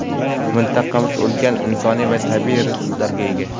Mintaqamiz ulkan insoniy va tabiiy resurslarga ega.